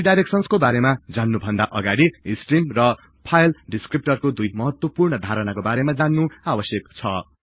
रिडाईरेक्सनको बारेमा जान्नु भन्दा अगाडि स्टिर्म र फाइल डिस्क्रिप्टर दुई महत्वपुर्ण धारणाको बारेमा जान्नु आवश्यक छ